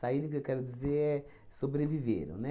que eu quero dizer é, sobreviveram, né?